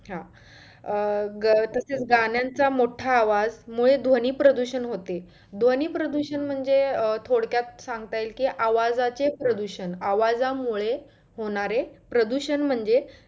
हा अं तसंच गाण्याचं मोठा आवाजामुळे ध्वनी प्रदुषण होते. ध्वनी प्रदुषण म्हंणजे थोडक्यात सांगता येईल कि आवाजाचे प्रदुषण आवाजा मुळे होणारे प्रदूषण म्हणजे